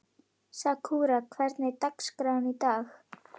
Sakura, hvernig er dagskráin í dag?